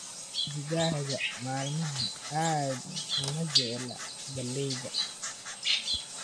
Digaagga maalmahan aad uma jecla galleyda